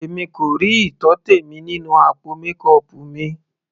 Èmi kò rí ìtọ́tẹ̀ mi nínú àpò mékọọpù mi.